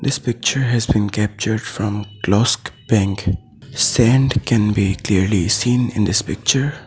this picture has been capture from klosk bank sand can be clearly seen in this picture.